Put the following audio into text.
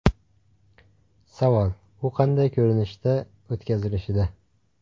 Savol u qanday ko‘rinishda o‘tkazilishida.